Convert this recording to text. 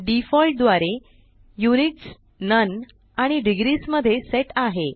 default द्वारे units none आणि degrees मध्ये सेट आहे